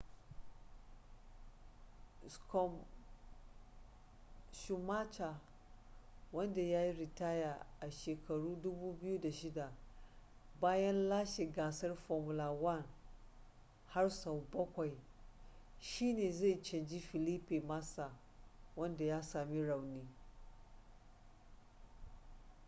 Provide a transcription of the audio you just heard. schumacher wanda ya yi ritaya a 2006 bayan lashe gasar formula 1 har sau bakwai shine zai canji felipe massa wanda ya sami rauni